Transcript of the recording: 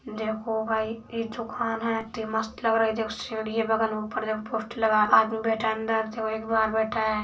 देखो गाइस ये दुकान है इतनी मस्त लग रही है। जब सीढ़ीया पोस्टर लगा हुआ है। आदमी बैठा है अंदर देखो एक बाहर बैठा है।